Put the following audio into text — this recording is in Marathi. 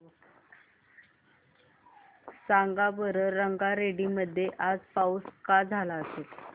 सांगा बरं रंगारेड्डी मध्ये आज पाऊस का झाला असेल